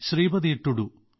Sripathi Tudu